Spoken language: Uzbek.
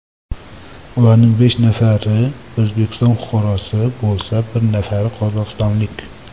Ularning besh nafari O‘zbekiston fuqarosi bo‘lsa, bir nafari qozog‘istonlik.